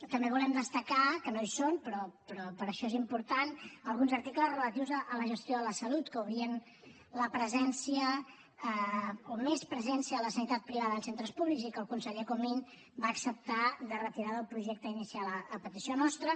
també volem destacar que no hi són però per això és important alguns articles relatius a la gestió de la salut que obrien la presència o més presència a la sanitat privada en centres públics i que el conseller comín va acceptar de retirar del projecte inicial a petició nostra